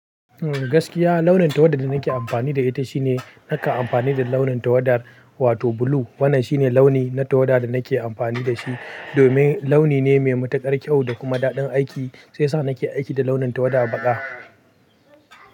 Gaskiya launin tawadar da nake amfani da ita shine nakan amfani da launin tawadar wato blue. Wannan shine launi na tawada da nake amfani da shi domin launi ne mai matuƙar kyau da kuma daɗin aiki sai yasa nake aiki da launin tawada a baƙa.